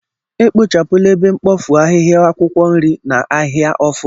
ekpochapụla ebe mkpofu ahịhia akwukwo nri na ahia ofu.